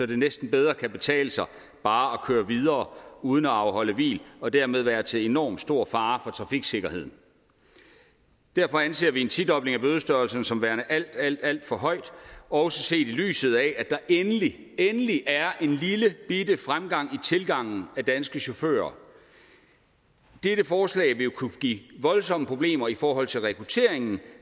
det næsten bedre kan betale sig bare at køre videre uden at afholde hvil og dermed være til enormt stor fare for trafiksikkerheden derfor anser vi en tidobling af bødestørrelsen som værende alt alt alt for høj også set i lyset af at der endelig endelig er en lillebitte fremgang i tilgangen af danske chauffører dette forslag vil kunne give voldsomme problemer i forhold til rekrutteringen